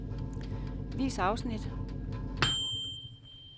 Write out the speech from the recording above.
Vis afsnit.